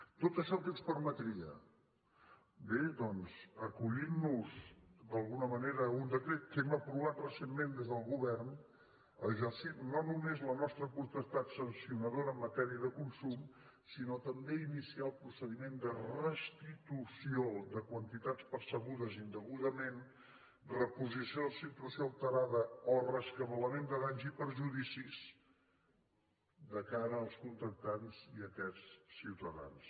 tot això què ens permetria bé doncs acollint nos d’alguna manera a un decret que hem aprovat recentment des del govern exercir no només la nostra potestat sancionadora en matèria de consum sinó també iniciar el procediment de restitució de quantitats percebudes indegudament reposició de situació alterada o rescabalament de danys i perjudicis de cara als contractants i aquests ciutadans